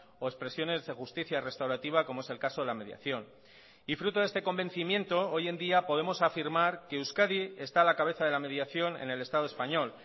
o expresiones de justicia restaurativa como es el caso de la mediación y fruto de este convencimiento hoy en día podemos afirmar que euskadi está a la cabeza de la mediación en el estado español